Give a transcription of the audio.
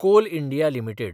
call India limited